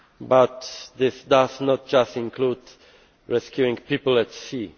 But this does not just include rescuing people at sea.